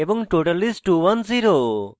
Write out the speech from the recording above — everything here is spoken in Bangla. total is: 210